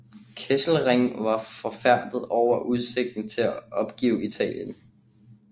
Kesselring var forfærdet over udsigten til at opgive Italien